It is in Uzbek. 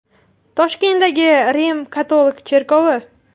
Toshkentdagi Rim-katolik cherkovi.